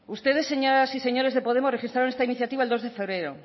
ustedes señoras y señores de podemos registraron esta iniciativa el dos de febrero